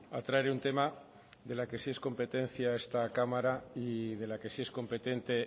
a traer un tema de la que sí es competencia esta cámara y de la que sí es competente